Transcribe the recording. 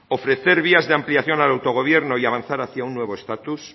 ofrecer vías de ampliación al autogobierno y avanzar hacia una nuevo estatus